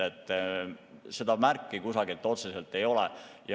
Seda märki kusagil otseselt ei ole.